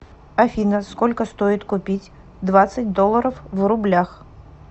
афина сколько стоит купить двадцать долларов в рублях